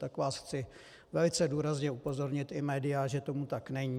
Tak vás chci velice důrazně upozornit, i média, že tomu tak není.